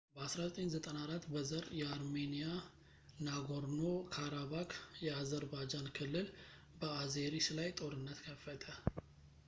በ1994 በዘር የአርሜንያ ናጎርኖ-ካራባክ የአዘርባጃን ክልል በአዜሪስ ላይ ጦርነት ከፈተ